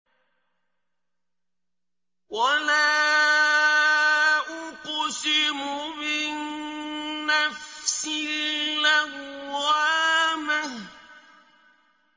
وَلَا أُقْسِمُ بِالنَّفْسِ اللَّوَّامَةِ